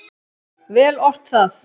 Vel ort það.